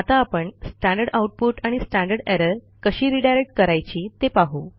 आता आपण standard output आणि स्टँडर्ड एरर कशी रिडायरेक्ट करायची ते पाहू